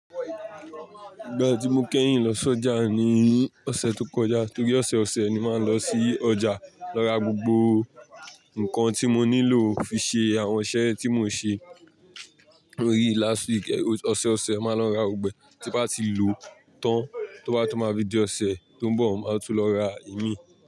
Ìgbà tí mo kẹ́yìn lọ s'ọjà ni ní ọ̀sẹ̀ tó kọjá torí ọ̀sẹ̀ ọ̀sẹ̀ ni màá n lọ sí ọjà lọ ra gbogbo nnkan tí mo nílò fi ṣe àwọn iṣẹ́ tí mo ń ṣe. Torií last week, ọ̀sẹ̀ ọ̀sẹ̀ mo máa lọ ra gbogbo ẹ tí n bá ti lò tán tó bá tún máa di ọ̀sẹ̀ tó ń bọ̀ máa tún lọ ra ìmí.